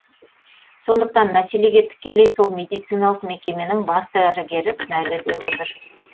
сондықтан мәселеге тікелей сол медициналық мекеменің бас дәрігері кінәлі деп отыр